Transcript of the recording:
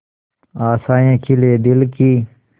आशाएं खिले दिल की